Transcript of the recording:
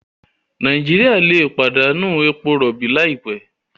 Nàìjíríà lè pàdánù èpò robi laipẹ